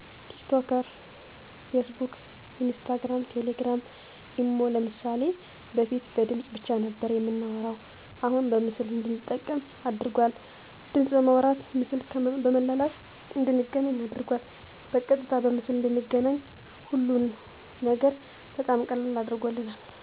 ቲክቶከር ፌስቡክ ኢንስታግራም ቴሌግራም ኢሞ ለምሳሌ በፊት በድምፅ ብቻ ነበር የምናወራሁ አሁን በምስል እንድንጠቀም አድርጓል ድምፅ በማውራት ምስል በመላላክ እንድንገናኝ አድርጎናል በቀጥታ በምስል እንድንገናኝ ሀሉን ነገር በጣም ቀላል አድርጎልናል